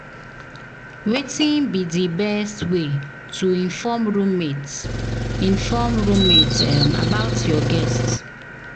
Wetin be di best way to inform roommate inform roommate about your guest?